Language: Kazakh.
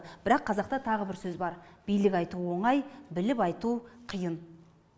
бірақ қазақта тағы бір сөз бар билік айту оңай біліп айту қиын